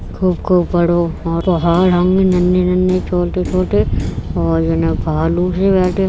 खूब खूब बड़ो होरो नन्ही - नन्ही छोटी - छोटी और सी बैठी --